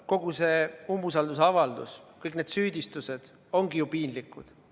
Kogu see umbusaldusavaldus, kõik need süüdistused ongi ju piinlikud.